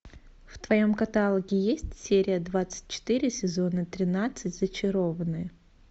в твоем каталоге есть серия двадцать четыре сезона тринадцать зачарованные